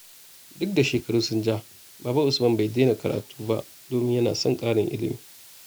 Duk da shekaru sun ja, Baba Usman bai daina karatu ba domin yana son ƙarin ilimi.